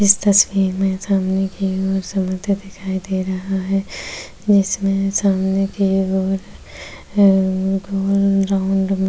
जिस तस्वीर में ज़मीन के अंदर समंदर दिखाई दे रहा है।